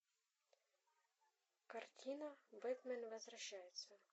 картина бэтмен возвращается